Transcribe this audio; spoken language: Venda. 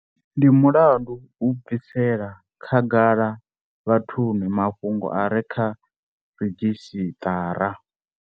Ndi mulandu u bvisela kha gala vhathuni mafhungo a re kha ridzhisiṱara.